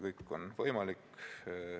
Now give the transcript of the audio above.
Kõik on võimalik.